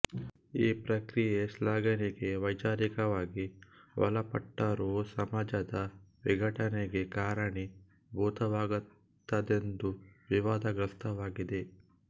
ಈ ಪ್ರಕ್ರಿಯೆ ಶ್ಲಾಘನೆಗೆ ವೈಚಾರಿಕವಾಗಿ ಒಳಪಟ್ಟರೂ ಸಮಾಜದ ವಿಘಟನೆಗೆ ಕಾರಣೀಭೂತವಾಗುತ್ತದೆಂದು ವಿವಾದಗ್ರಸ್ತವಾಗಿದೆ